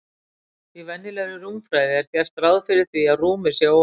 Í venjulegri rúmfræði er gert ráð fyrir því að rúmið sé óendanlegt.